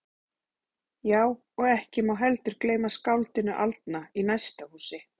Já, og ekki má heldur gleyma skáldinu aldna í næsta húsi.